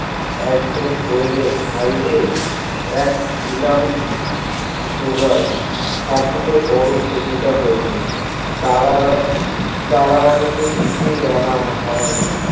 একজন বলিলেন ভাই রে এক ছিলাম যোগার তা ছিলে বড় সুবিধা হয়েতো তার আবার তারা হুরী তে কিছুই আনা হয়না